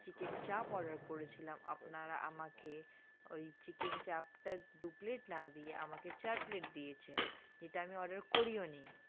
chicken চাপ order করেছিলাম আপনারা আমাকে ওই chicken চাপ টা দু plate না দিয়ে আমাকে চার plate দিয়েছেন যেটা আমি order করিওনি।